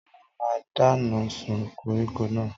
Tọ́lá máa dáná sun koríko náà.